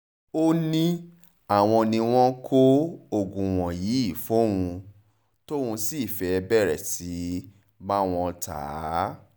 ó ní àwọn ni wọ́n ń kó oògùn wọ̀nyí fóun tóun sì fẹ́ẹ́ bẹ̀rẹ̀ sí í bá wọn ta á